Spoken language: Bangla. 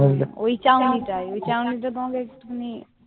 ওই ছাউনিটাই। ওই ছাউনিটাও তোমাকে একটুখানি